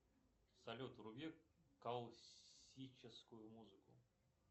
салют вруби классическую музыку